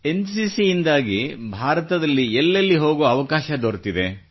N C C ಯಿಂದಾಗಿ ಭಾರತದ ಎಲ್ಲೆಲ್ಲಿ ಹೋಗುವ ಅವಕಾಶ ದೊರೆತಿದೆ